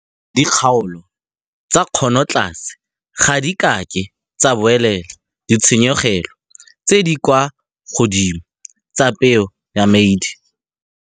Dikgaolo tsa kgonotlase ga di ka ke tsa buelela ditshenyegelo tse di kwa godimo tsa peo ya maidi.